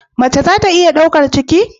Mace za ta iya daukar ciki?